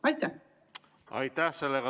Aitäh!